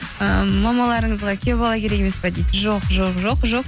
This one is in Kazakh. ыыы мамаларыңызға күйеу бала керек емес пе дейді жоқ жоқ жоқ жоқ